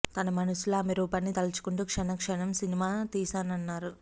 తన మనసులో ఆమె రూపాన్ని తలుచుకుంటూ క్షణం క్షణం సినిమా తీశానన్నారు